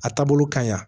A taabolo ka ɲi wa